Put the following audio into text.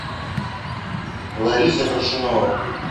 лариса коршунова